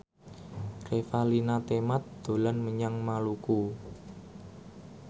Revalina Temat dolan menyang Maluku